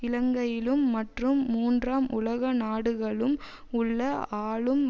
இலங்கையிலும் மற்றும் மூன்றாம் உலக நாடுகலும் உள்ள ஆளும்